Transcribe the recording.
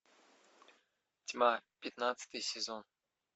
тьма пятнадцатый сезон